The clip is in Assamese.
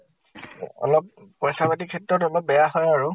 অলপ পইচা পাতিৰ ক্ষেত্ৰত অলপ বেয়া হয় আৰু।